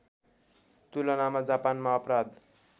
तुलनामा जापानमा अपराध